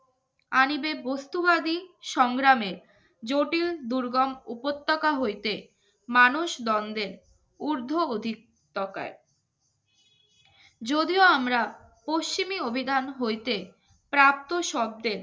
আরিবের বস্তুবাদী সংগ্রামে জটিল দুর্গম উপত্যকা হইতে মানুষ দ্বন্দ্বের ঊর্ধ্ব অধিক তাকায় যদিও আমরা পশ্চিমে অভিধান হইতে প্রাপ্ত শব্দের